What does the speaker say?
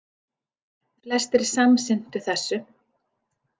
Flestir samsinntu þessu.